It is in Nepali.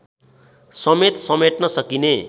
समेत समेट्न सकिने